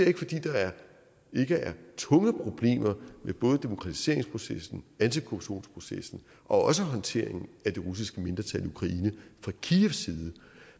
ikke fordi der ikke er tunge problemer med både demokratiseringsprocessen antikorruptionsprocessen og også håndteringen af det russiske mindretal i ukraine fra kievs side